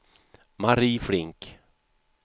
Mari Flink